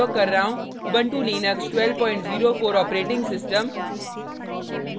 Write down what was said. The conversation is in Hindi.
Ubuntu Linux 1204 operating system